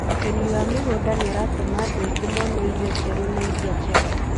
Ũrĩmi wa mĩgũnda nĩ ũratũma andũ aingĩ mone irio njerũ na irĩa njega.